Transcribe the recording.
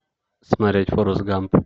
смотреть форест гамп